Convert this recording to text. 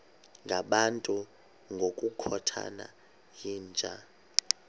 ngabantu ngokukhothana yinja